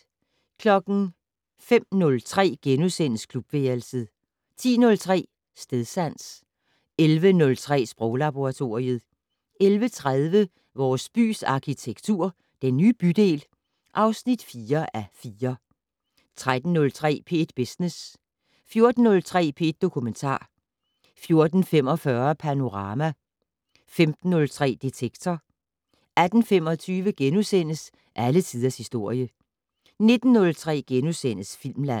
05:03: Klubværelset * 10:03: Stedsans 11:03: Sproglaboratoriet 11:30: Vores bys arkitektur - Den nye bydel (4:4) 13:03: P1 Business 14:03: P1 Dokumentar 14:45: Panorama 15:03: Detektor 18:25: Alle tiders historie * 19:03: Filmland *